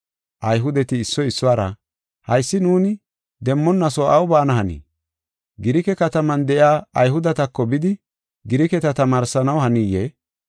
Ayhudeti issoy issuwara, “Haysi nuuni demmonaso aw baana hanii? Girike kataman de7iya Ayhudetako bidi Giriketa tamaarsanaw haniyee?